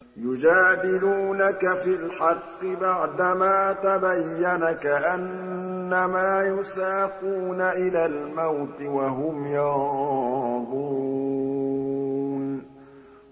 يُجَادِلُونَكَ فِي الْحَقِّ بَعْدَمَا تَبَيَّنَ كَأَنَّمَا يُسَاقُونَ إِلَى الْمَوْتِ وَهُمْ يَنظُرُونَ